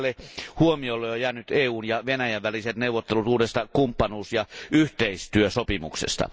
Vähemmälle huomiolle ovat jääneet EUn ja Venäjän väliset neuvottelut uudesta kumppanuus ja yhteistyösopimuksesta.